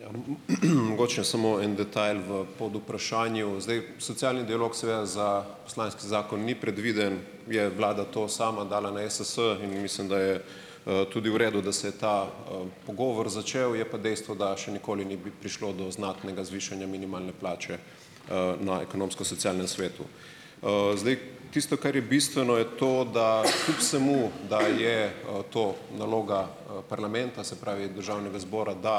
Ja, mogoče samo en detajl v podvprašanju. Zdaj, socialni dialog seveda za poslanski zakon ni predviden. Je vlada to sama dala na Ess in mislim, da je tudi v redu, da se je ta pogovor začel. Je pa dejstvo, da še nikoli ni prišlo do znatnega zvišanja minimalne plače na Ekonomsko-socialnem svetu. Zdaj tisto, kar je bistveno, je to, da kljub vsemu, da je to naloga parlamenta, se pravi Državnega zbora, da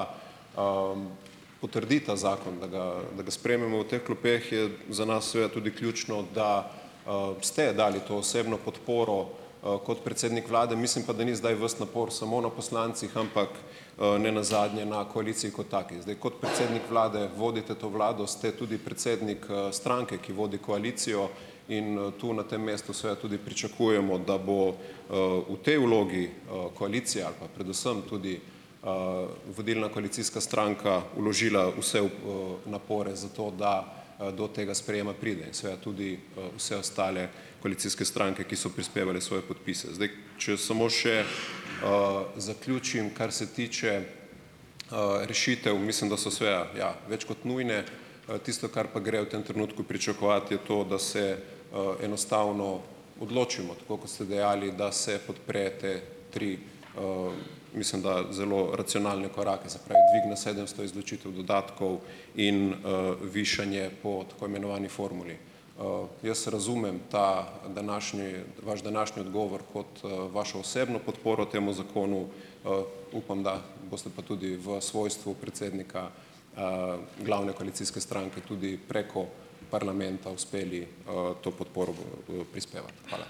potrdi ta zakon, da ga da ga sprejmemo v teh klopeh, je za nas seveda tudi ključno, da ste dali to osebno podporo kot predsednik Vlade, mislim pa, da ni zdaj ves napor samo na poslancih, ampak nenazadnje na koaliciji kot taki. Zdaj kot predsednik Vlade vodite to Vlado, ste tudi predsednik stranke, ki vodi koalicijo, in tu na tem mestu seveda tudi pričakujemo, da bo v tej vlogi koalicija ali pa predvsem tudi vodilna koalicijska stranka vložila vse napore za to, da do tega sprejema pride, seveda tudi vse ostale koalicijske stranke, ki so prispevale svoje podpise. Zdaj, če samo še zaključim. Kar se tiče rešitev, mislim, da so seveda, ja, več kot nujne. Tisto, kar pa gre v tem trenutku pričakovati, je to, da se enostavno odločimo, tako kot ste dejali, da se podpre te tri, mislim, da zelo racionalne korake, se pravi dvig na sedemsto, izločitev dodatkov in višanje po tako imenovani formuli. Jaz razumem ta današnji vaš današnji odgovor kot vašo osebno podporo temu zakonu. Upam, da boste pa tudi v svojstvu predsednika glavne koalicijske stranke tudi preko parlamenta uspeli to podporo prispevati. Hvala.